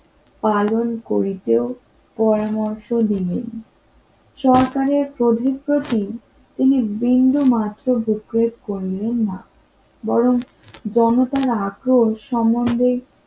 পালন করিতেও পরামর্শ দিবেন না বরং জনতার আকর্ষ সম্বন্ধে